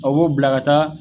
O b'o bila kaa